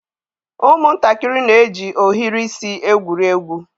Ụmụntakịrị na-eji ohiri isi egwuri egwu.